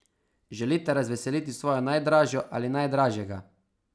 Želite razveseliti svojo najdražjo ali najdražjega?